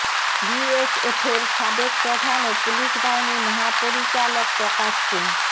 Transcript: বিএসএফের সাবেক প্রধান ও পুলিশ বাহিনীর মহাপরিচালক প্রকাশ সিং